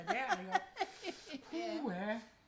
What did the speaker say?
der ikke også puha